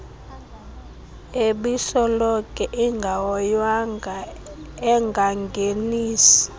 ebisoloko ingahoywanga engangenisi